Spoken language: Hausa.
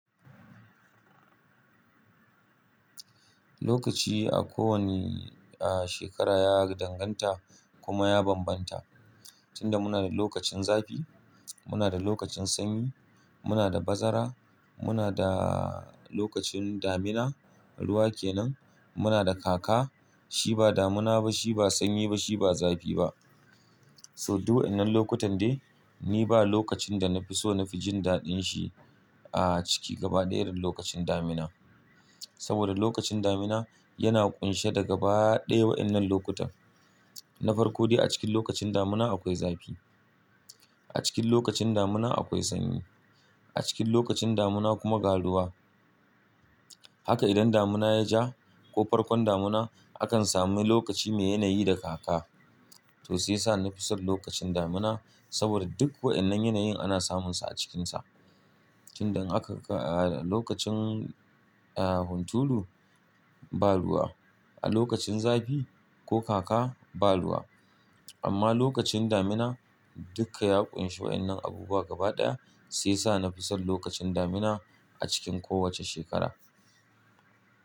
Lokaci a kowani, a shekara ya danganta kuma ya bambanta. Tun da muna da lokacin zafi, muna da lokacin sanyi, muna da bazara, muna da lokacin damina, ruwa ke nan, muna da kaka. Shi ba damina ba, shi ba sanyi ba, shi ba zafi ba. So duk wa'inan lokutan de, ni ba lokacin da na fi so na fi jin daɗin shi a ciki gaba ɗaya lokacin damina. Saboda lokacin damina yana ƙunshe daga ba ɗaya wa'inan lokuta. Na farko dai a cikin lokacin damina akwai zafi, a cikin lokacin damina akwai sanyi, a cikin lokacin damina kuma ga ruwa. Haka idan damina ya ja ko farkon damina, akan sami lokaci mai yanayi da kaka. To sai sa na fi son lokacin damina saboda duk wa'innan yanayin ana samunsa a cikinsa. Tun dan aka a lokacin a hunturu ba ruwa, a lokacin zafi ko kaka ba ruwa. Amma lokacin damina dukka ya ƙunshi wa'innan abubuwa gaba ɗaya sai sa na fi son lokacin damina a cikin kowace shekara.